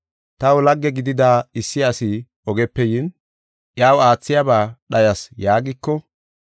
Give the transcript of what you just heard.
Taw lagge gidida issi asi ogepe yin, iyaw aathiyaba dhayas’ yaagiko,